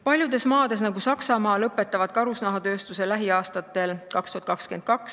Paljud maad lõpetavad karusnahatööstuse lähiaastatel, näiteks Saksamaa 2022.